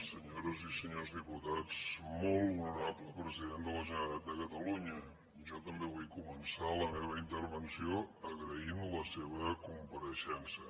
senyores i senyors diputats molt honorable president de la generalitat de catalunya jo també vull començar la meva intervenció agraint la seva compareixença